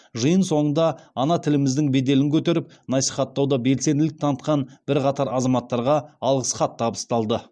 жиын соңында ана тіліміздің беделін көтеріп насихаттауда белсенділік танытқан бірқатар азаматтарға алғыс хат табысталды